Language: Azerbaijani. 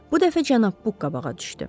Bu dəfə cənab Buq qabağa düşdü.